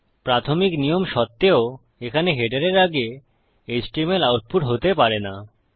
প্রাথমিক নিয়ম সত্ত্বেও এখানে হেডারের আগে এইচটিএমএল আউটপুট হতে পারে না